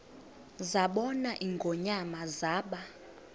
zabona ingonyama zaba